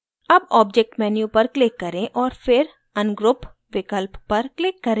अब object menu पर click करें और फिर ungroup विकल्प पर click करें